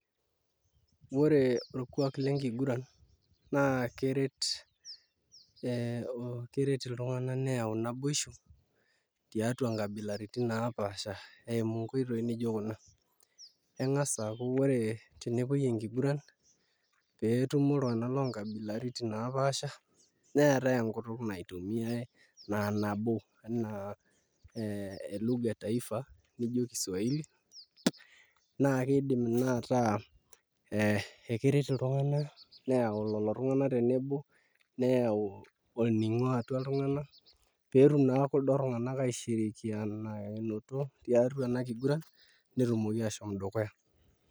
Ore orkuak lenkiguran naa keret ee iltung'anak neyau naboishu tuiatua nkabilaitin naapaasha eimu nkoitoi nijio kuna eng'as aaku tenepuoi enkiguran pee etumo iltung'anak loonkabilaitin naapaasha neetai enkutuk naitumiai naa nabo enaa ee e lugha e taifa nijio Kiswahili naa kiidim naa ataa ekeret iltung'anak neyaau lelo tung'anak tenebo neyau olning'o atua iltung'abak pee etum naa kuldo tung'anak aishirikianikinoto tiatua ena kiguran netumoki aashom dukuya.